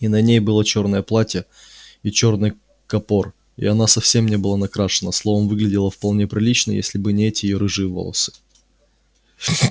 и на ней было чёрное платье и чёрный капор и она совсем не была накрашена словом выглядела вполне прилично если бы не эти её рыжие волосы